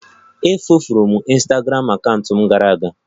E furu m ịnstagramụ akaụntụ m gara aga